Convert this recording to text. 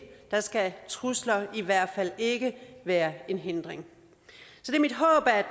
skal trusler i hvert fald ikke være en hindring